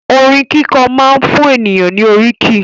Orin kíkọ máa ń fún ènìyàn ní òkìkí.